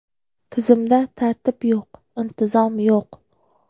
Tizimda tartib yo‘q, intizom yo‘q”.